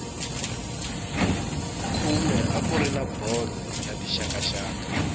khume a kuri na bolo ya tixakaxaka